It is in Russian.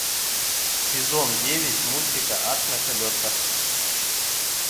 сезон девять мультика ад на колесах